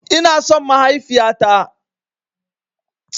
Ina son mahaifiya ta.